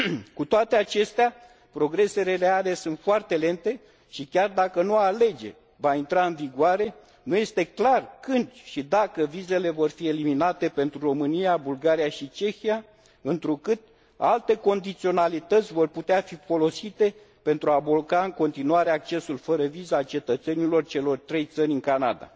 Cu toate acestea, progresele reale sunt foarte lente, și chiar dacă noua lege va intra în vigoare nu este clar când și dacă vizele vor fi eliminate pentru România, Bulgaria și Cehia, întrucât alte condiționalități vor putea fi folosite pentru a bloca în continuare accesul fără viză a cetățenilor celor trei țări în Canada.